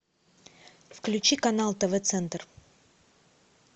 включи канал тв центр